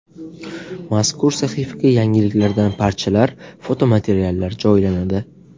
Mazkur sahifaga yangiliklardan parchalar, fotomateriallar joylanadi.